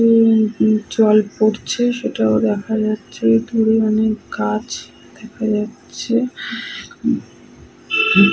উম উ জল পড়ছে সেটাও দেখা যাচ্ছে। দূরে অনেক গাছ দেখা যাচ্ছে । উহ হু --